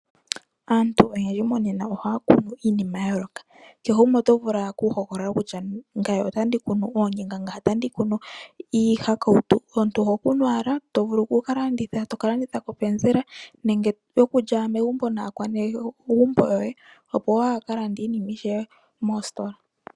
Aantu oyendji monena ohaya kunu iinima ya yooloka. Kehe gumwe oto vulu owala okuhogolola kutya ngame otandi kunu oonyanga, ngame otandi kunu iihakautu. Omuntu oho kunu owala to vulu oku ka landitha, to ka landitha popenzela, nenge okulya megumbo naanegumbo yoye opo waa ka lande iinima ishewe moositola.